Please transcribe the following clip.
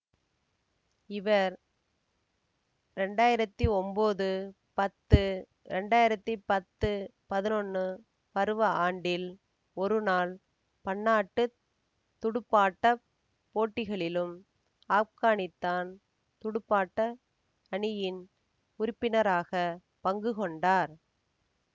இவர் ரெண்டாயிரத்தி ஒம்போது பத்து ரெண்டாயிரத்தி பத்து பதினொன்னு பருவ ஆண்டில் ஒருநாள் பன்னாட்டு துடுப்பாட்ட போட்டிகளிலும் ஆப்கானித்தான் துடுப்பாட்ட அணியின் உறுப்பினராக பங்குகொண்டார்